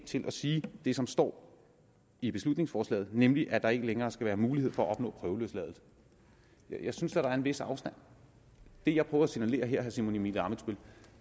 til at sige det som står i beslutningsforslaget nemlig at der ikke længere skal være mulighed for at opnå prøveløsladelse jeg synes da der er en vis afstand det jeg prøver at signalere her simon emil ammitzbøll